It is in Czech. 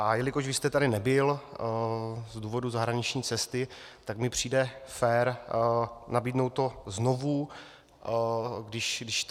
A jelikož vy jste tady nebyl z důvodu zahraniční cesty, tak mi přijde fér nabídnout to znovu, když tady jste.